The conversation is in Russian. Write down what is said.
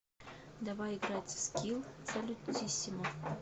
давай играть в скилл салютиссимо